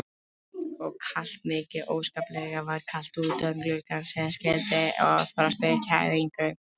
Og kalt, mikið óskaplega var kalt utan gluggans sem skildi að frost og fæðingu.